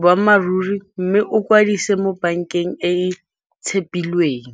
boammaaruri mme o kwadise mo bankeng e e tshepilweng.